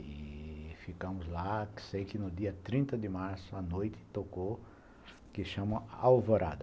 E ficamos lá, que sei que no dia trinta de março, à noite, tocou o que chamam Alvorada.